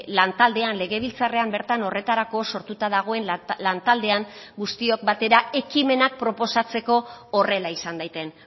lan taldean legebiltzarrean bertan horretarako sortuta dagoen lan taldean guztiok batera ekimenak proposatzeko horrela izan daiten